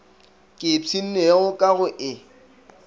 ke ipshinnego ka go e